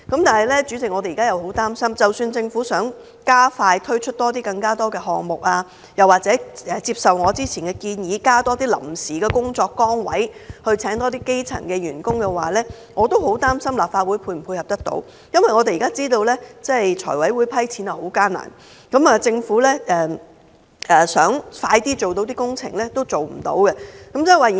但是，主席，即使政府想加快推出更多項目，又或接受我之前的建議，增加臨時工作崗位，聘請更多基層員工，我也很擔憂立法會可否配合，因為財務委員會現在撥款十分困難，即使政府想加快進行工程也不行。